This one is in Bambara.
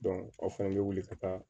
aw fɛnɛ bɛ wuli ka taa